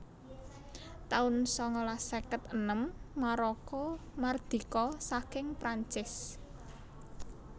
taun sangalas seket enem Maroko mardika saking Prancis